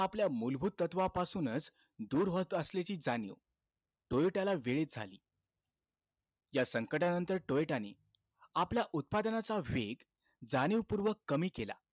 आपल्या मूलभूत तत्वापासूनचं दूर होत असल्याची जाणीव, टोयोटाला वेळीचं झाली. त्या संकटानंतर टोयोटाने, आपल्या उत्पादनाचा वेग जाणीवपूर्वक कमी केला.